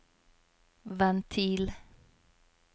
ventil